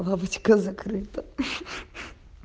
лавочка закрыта ха-ха-ха